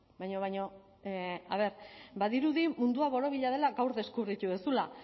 baina baina a ver badirudi mundua borobila dela gaur deskubritu duzula